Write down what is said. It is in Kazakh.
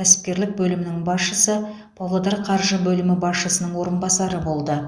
кәсіпкерлік бөлімінің басшысы павлодар қаржы бөлімі басшысының орынбасары болды